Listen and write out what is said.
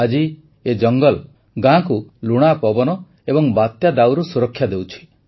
ଆଜି ଏ ଜଙ୍ଗଲ ଗାଁକୁ ଲୁଣା ପବନ ଏବଂ ବାତ୍ୟା ଦାଉରୁ ସୁରକ୍ଷା ଦେଉଛି